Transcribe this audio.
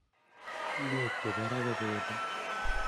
Ngwek chepo ra ko pendo